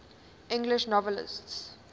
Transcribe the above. english novelists